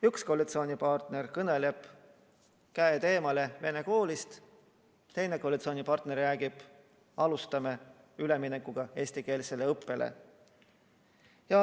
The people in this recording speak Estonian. Üks koalitsioonipartner kõneleb, et käed eemale venekeelsest koolist, teine koalitsioonipartner räägib, et alustame üleminekuga eestikeelsele õppele.